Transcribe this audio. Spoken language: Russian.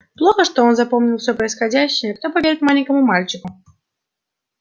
плохо что он запомнил всё происходящее кто поверит маленькому мальчику